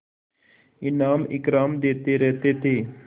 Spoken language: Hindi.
इनाम इकराम देते रहते थे